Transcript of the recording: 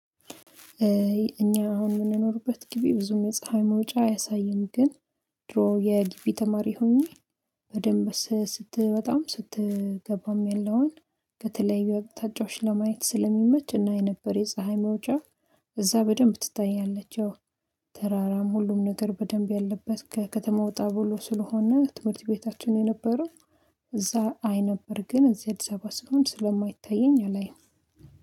እኛ አሁን የምንኖርበት ግቢ ብዙም የፀሀይ መውጫ አያሳይም ግን ድሮ የግቢ ተማሪ ሆኜ በደንብ ስትወጣም ስትገባም ያለውን ከተለያዩ አቅጣጫዎች ለማየት ስለሚመች እናይ ነበረ የፀሀይ መውጫ እዛ በደንብ ትታያለች ያው ተራራም ሁሉም ነገር በደንብ ያለበት ከከተማ ወጣ ብሎ ስለሆነ ትምህርት ቤታችን የነበረው እዛ አይ ነበር ግን እዚህ አዲሳባ ስሆን ስለማይታየኝ አላይም።